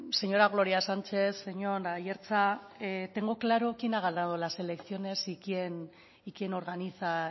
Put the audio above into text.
señora gloria sánchez señor aiartza tengo claro quién ha ganado las elecciones y quién organiza